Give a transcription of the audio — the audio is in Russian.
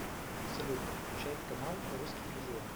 салют включай канал русский иллюзион